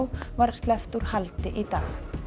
var sleppt úr haldi í dag